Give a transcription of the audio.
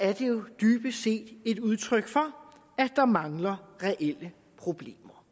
er det jo dybest set et udtryk for at der mangler reelle problemer